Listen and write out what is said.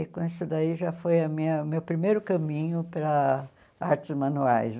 E com isso daí já foi a minha o meu primeiro caminho para artes manuais.